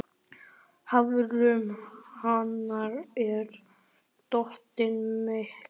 Hafrún, hvar er dótið mitt?